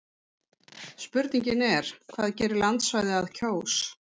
spurningin er hvað gerir landsvæði að kjós